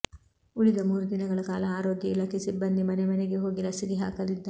ಉಳಿದ ಮೂರು ದಿನಗಳ ಕಾಲ ಆರೋಗ್ಯ ಇಲಾಖೆ ಸಿಬ್ಬಂದಿ ಮನೆ ಮನೆಗೆ ಹೋಗಿ ಲಸಿಕೆ ಹಾಕಲಿದ್ದಾರೆ